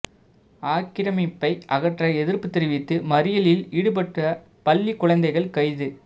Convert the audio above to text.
ஆக்கிரமிப்பை அகற்ற எதிர்ப்பு தெரிவித்து மறியலில் ஈடுபட்ட பள்ளி குழந்தைகள் கைது